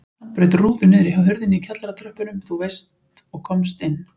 Hann braut rúðu niðri hjá hurðinni í kjallaratröppunum þú veist og komst inn.